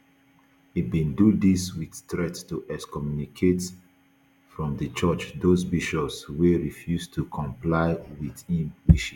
e bin do dis wit threat to excommunicate from di church those bishops wey refuse to comply wit im wishes